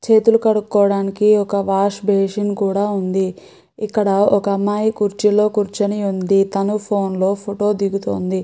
చేతులు కడుక్కోవడానికి ఒక వాష్ బేసిన్ కూడా ఉంది. ఇక్కడ ఒక అమ్మాయి కుర్చీలో కూర్చొని ఉంది. కానీ ఫోన్లో ఫోటో దిగుతుంది.